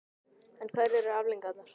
En hverjar eru afleiðingarnar?